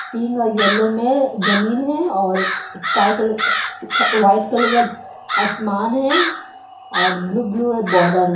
Pink और yellow में-ए जमीन है और स्काई कलर उ उ छा वाइट कलर का आसमान है और ब्लू ब्लू इय बॉर्डर हे।